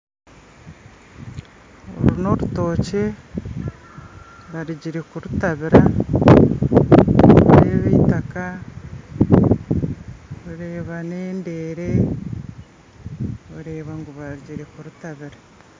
Oru n'orutookye barugire kurutabiira nindeeba itaaka ndeeba n'endeere oreeba ngu barugire kurutabiira